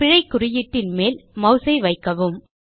பிழை குறியீட்டின் மேல் மாஸ் ஐ வைக்கவும்